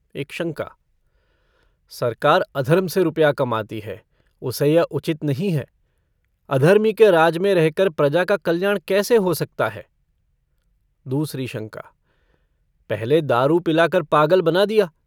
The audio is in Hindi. एक शंका - सरकार अधर्म से रुपया कमाती है उसे यह उचित नहीं है अधर्मी के राज में रहकर प्रजा का कल्याण कैसे हो सकता है? दूसरी शंका - पहले दारू पिलाकार पागल बना दिया।